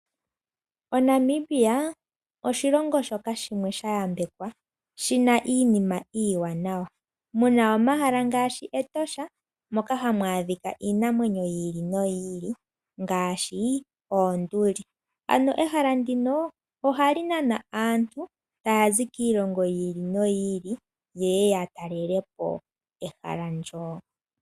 ONamibia oshilongo shoka shimwe shayambekwa shina iinima iiwanawa muna omahala ngaashi Etosha moka hamu adhika iinamwenyo yi ili noyi ili ngaashi oonduli, ano ehala ndika ohali nana aantu kiilongo yi ili noyi ili yeye yatalele po ehala ndyo.